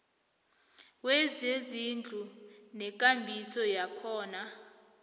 wezezindlu nekambiso yakhona